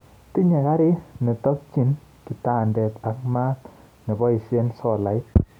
Tinye karit notoknyi kitandet ak maat neboishe solait